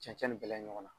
Cɛncɛn ni bɛɛla ɲɔgɔn na